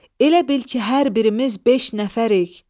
Elə bil ki, hər birimiz beş nəfərik.